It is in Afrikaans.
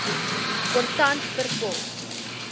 kontant per pos